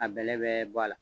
A bɛlɛ bɛ bɔ a la